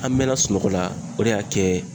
An mɛnna sunɔgɔ la o de y'a kɛ